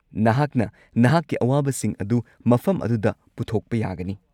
ꯅꯍꯥꯛꯅ ꯅꯍꯥꯛꯀꯤ ꯑꯋꯥꯕꯁꯤꯡ ꯑꯗꯨ ꯃꯐꯝ ꯑꯗꯨꯗ ꯄꯨꯊꯣꯛꯄ ꯌꯥꯒꯅꯤ꯫